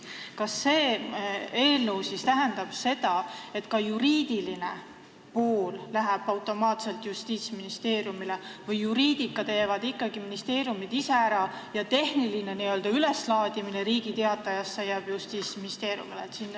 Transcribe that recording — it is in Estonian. Kas see eelnõu tähendab, et ka juriidiline pool läheb automaatselt Justiitsministeeriumile või juriidika teevad ikkagi ministeeriumid ise ära ja Justiitsministeeriumile jääb tehniline n-ö üleslaadimine Riigi Teatajasse?